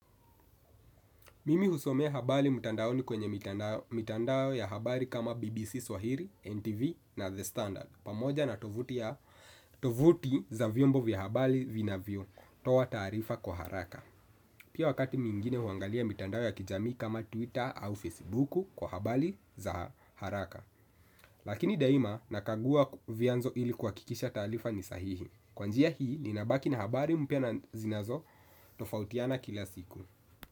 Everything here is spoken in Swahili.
Mimi husomea habari mtandaoni kwenye mitandao ya habari kama BBC Swahili, NTV na The Standard. Pamoja na tovuti za vyombo vya habari vinavyotoa taarifa kwa haraka. Pia wakati mwingine huangalia mitandao ya kijamii kama Twitter au Facebook kwa habari za haraka. Lakini daima nakagua vianzo ili kuhakikisha taarifa ni sahihi. Kwa njia hii ninabaki na habari mpya na zinazotofautiana kila siku.